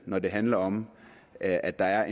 når det handler om at at der er